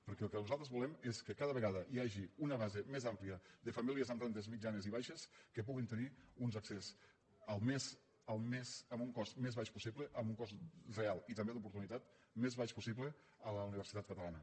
perquè el que nosaltres volem és que cada vegada hi hagi una base més àmplia de famílies amb rendes mitjanes i baixes que puguin tenir un accés amb el cost més baix possible amb un cost real i també d’oportunitat més baix possible a la universitat catalana